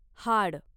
हाड